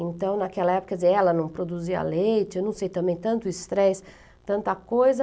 Então, naquela época, quer dizer, ela não produzia leite, eu não sei também, tanto estresse, tanta coisa.